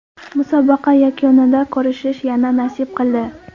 Musobaqa yakunida ko‘rishish yana nasib qildi.